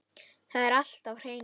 Það er allt á hreinu